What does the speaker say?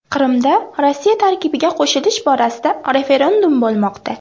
Qrimda Rossiya tarkibiga qo‘shilish borasida referendum bo‘lmoqda.